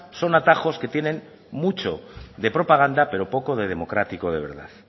son atajos que tienen mucho de propaganda pero poco de democrático de verdad